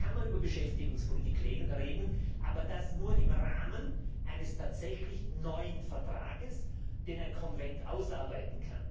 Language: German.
Dann kann man über Beschäftigungspolitik reden, aber nur im Rahmen eines tatsächlich neuen Vertrags, den ein Konvent ausarbeitet.